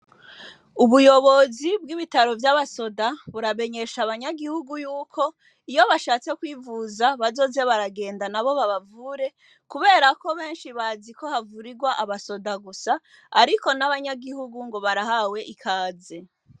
Ubuyobozi bw'ibitaro vy'abasoda buramenyesha abanyagihugu yuko iyo bashatse kwivuza bazoza baragenda nabo babavure kubera ko benshi bazi ko havurirwa abasoda gusa ariko n'abanyagihugu ngo barahawe ikaze.